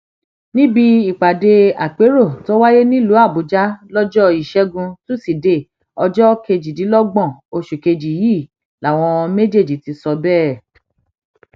níbi ìpàdé àpérò tó wáyé nílùú àbújá lọjọ ìṣẹgun tusidee ọjọ kejìdínlọgbọn oṣù kejì yìí làwọn méjèèjì ti sọ bẹẹ